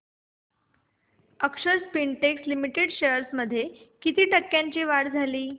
अक्षर spintex limited shares मध्ये किती टक्क्यांची वाढ झाली